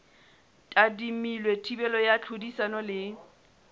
tadimilwe thibelo ya tlhodisano le